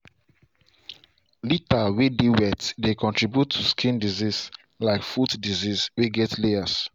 litter way dey wet dey contribute to skin disease like foot disease way get layers.